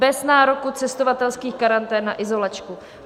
Bez nároku cestovatelských karantén na izolačku.